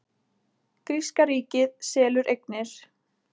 Gríska ríkið selur eignir